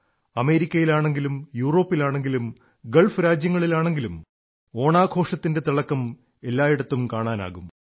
അമേരിക്കയിലാണെങ്കിലും യൂറോപ്പിലാണെങ്കിലും ഗൾഫ് രാജ്യങ്ങളിലാണെങ്കിലും ഓണാഘോഷത്തിന്റെ തിളക്കം എല്ലായിടത്തും കാണാനാകും